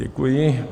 Děkuji.